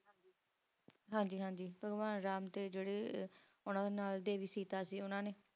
ਹਨ ਜੀ ਹਨ ਜੀ ਭਗਵਾਨ ਰਾਮ ਜੈਰੇ ਉਨ੍ਹਾਂ ਨੇ ਉਨ੍ਹਾਂ ਸੀਤਾ ਸੀ ਉਨ੍ਹਾਂ ਨੇ